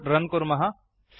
code run कुर्मः